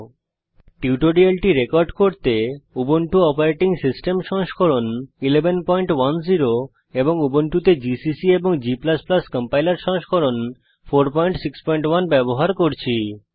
এই টিউটোরিয়ালটি রেকর্ড করতে আমি উবুন্টু অপারেটিং সিস্টেম সংস্করণ 1110 এবং উবুন্টুতে জিসিসি এবং g কম্পাইলার সংস্করণ 461 ব্যবহার করছি